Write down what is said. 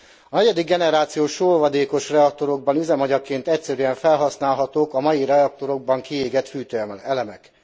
A negyedik generációs sóolvadékos reaktorokban üzemanyagként egyszerűen felhasználhatók a mai reaktorokban kiégett fűtőelemek.